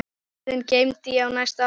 Orðin geymdi ég næstu árin.